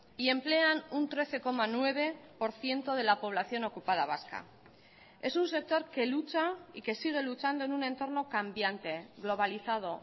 y emplean un trece coma nueve por ciento de la población ocupada vasca es un sector que lucha y que sigue luchando en un entorno cambiante globalizado